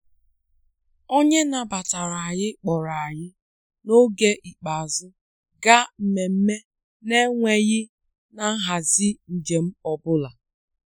Onye nabatara anyị kpọrọ anyị n'oge ikpeazụ gaa nmemme na-enweghị na nhazi njem ọ bụla.